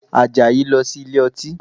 Àjàyí lọ sí ilé ọtí